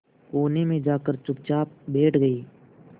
कोने में जाकर चुपचाप बैठ गई